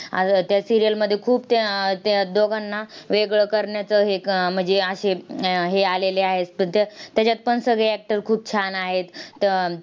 आह त्या serial मध्ये खूप त्या त्या दोघांना वेगळं करण्याचं हे म्हणजे असे हे आलेले आहेत. पण त्या त्याच्यातपण सगळे actor खूप छान आहेत. तर